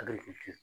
A bɛ ci